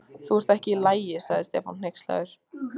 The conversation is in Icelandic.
Þú ert ekki í lagi. sagði Stefán hneykslaður.